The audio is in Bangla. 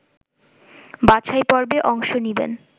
বাছাইপর্বে অংশ নেবেন